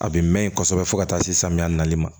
A bɛ mɛn kosɛbɛ fo ka taa se samiya nali ma